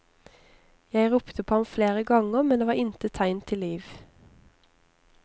Jeg ropte på ham flere ganger, men det var intet tegn til liv.